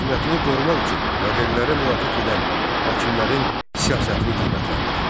Hakimiyyətini qorumaq üçün yadellilərə müraciət edən hakimlərin siyasətini qiymətləndir.